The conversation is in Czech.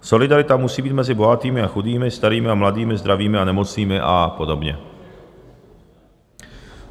Solidarita musí být mezi bohatými a chudými, starými a mladými, zdravými a nemocnými a podobně.